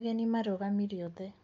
Ageni marũgamire othe.